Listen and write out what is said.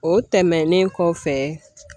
O tɛmɛnen kɔfɛ